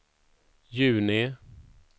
juni